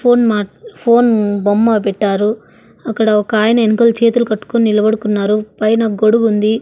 Phone మా phone బొమ్మ పెట్టారు అక్కడ ఒకాయన ఎన్కల చేతులు కట్టుకొని నిలబడుకున్నారు పైన గొడుగుంది.